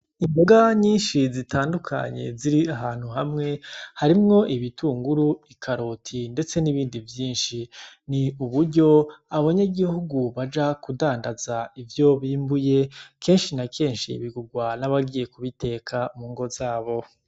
Imboga nyishi zitandukanye ziri ahantu hamwe, harimwo ibitunguru, ikaroti ndetse n’ibindi vyinshi. Ni uburyo abanyagihugu baja kudandaza ivyo bimbuye, kenshi na kenshi bigurwa n'abagiye kubiteka mu ngo zabo.